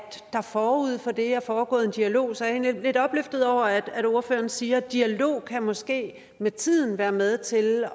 der forud for det er foregået en dialog så jeg er egentlig lidt opløftet over at ordføreren siger at dialog måske med tiden kan være med til